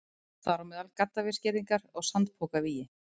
Þar á meðal gaddavírsgirðingar og sandpokavígi.